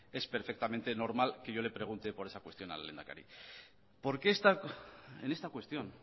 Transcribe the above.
es perfectamente normal que yo le pregunte por esa cuestión al lehendakari porque en esta cuestión